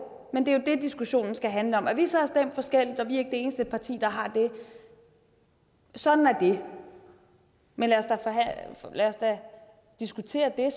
men det er jo det diskussionen skal handle om at vi så har stemt forskelligt og vi er ikke det eneste parti der har det ja sådan er det men lad os da diskutere